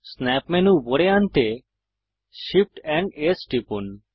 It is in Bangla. স্ন্যাপ মেনু উপরে আনতে Shift এএমপি S টিপুন